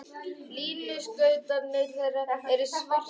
Línuskautarnir þeirra eru svartir.